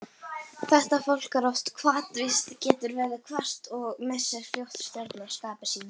Þetta fólk er oft hvatvíst, getur verið hvasst og missir fljótt stjórn á skapi sínu.